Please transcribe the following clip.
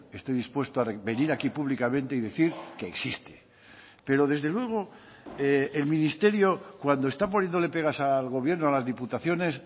estoy dispuesto a venir aquí públicamente y decir que existe pero desde luego el ministerio cuando está poniéndole pegas al gobierno a las diputaciones